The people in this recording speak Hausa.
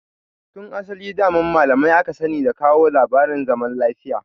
Tun asali daman malamai aka sani da kawo labarin zaman lafiya.